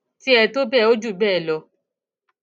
tiẹ tó bẹẹ ó jù bẹẹ lọ